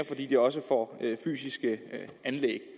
fordi de også får fysiske anlæg